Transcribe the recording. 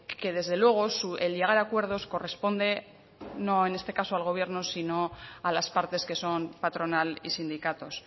que desde luego el llegar a acuerdos corresponde no en este caso al gobierno sino a las partes que son patronal y sindicatos